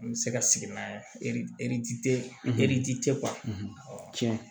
N bɛ se ka sigi n'a ye tiɲɛ